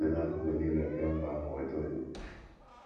n’akụkụ nile nke mba ahụ weta onyinye.